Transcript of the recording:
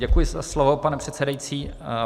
Děkuji za slovo, pane předsedající.